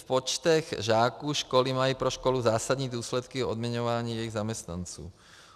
v počtech žáků školy mají pro školu zásadní důsledky v odměňování jejich zaměstnanců.